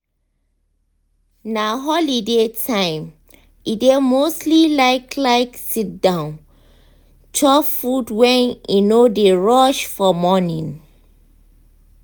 na holiday time e dey mostly like like sit down chop food when e no dey rush for morning